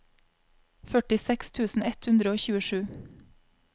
førtiseks tusen ett hundre og tjuesju